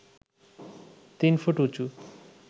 তিন ফুট উঁচু